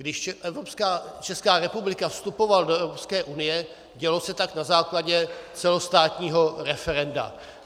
Když Česká republika vstupovala do Evropské unie, dělo se tak na základě celostátního referenda.